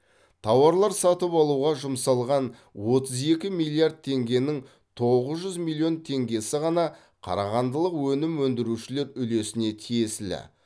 тауарлар сатып алуға жұмсалған отыз екі миллиард теңгенің тоғыз жүз миллион теңгесі ғана қарағандылық өнім өндірушілер үлесіне тиесілі